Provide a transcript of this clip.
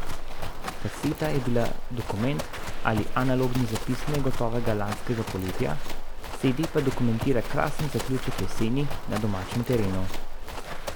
Kaseta je bila dokument ali analogni zapis negotovega lanskega poletja, cede pa dokumentira krasen zaključek jeseni na domačem terenu.